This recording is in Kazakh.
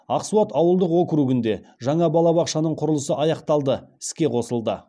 ақсуат ауылдық округінде жаңа балабақшаның құрылысы аяқталды іске қосылды